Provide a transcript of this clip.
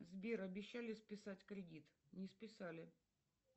сбер обещали списать кредит не списали